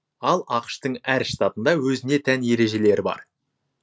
ал ақш тың әр штатында өзіне тән ережелері бар